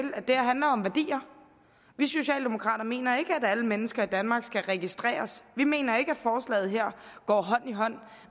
handler om værdier vi socialdemokrater mener ikke at alle mennesker i danmark skal registreres vi mener ikke at forslaget her går hånd i hånd